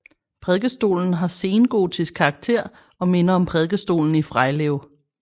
Prædikestolen har sengotisk karakter og minder om prædikestolen i Frejlev